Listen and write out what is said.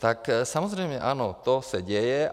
Tak samozřejmě, ano, to se děje.